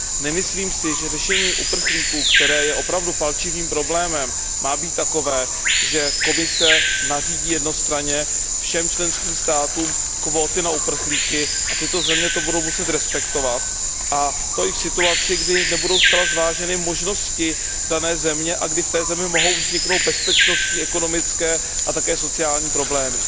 Nemyslím si, že řešení situace uprchlíků, která je opravdu palčivým problémem, má být takové, že Komise nařídí jednostranně všem členským státům kvóty na uprchlíky a tyto země to budou muset respektovat, a to i v situaci, kdy nebudou zcela zváženy možnosti dané země a kdy v té zemi mohou vzniknout bezpečnostní, ekonomické a také sociální problémy.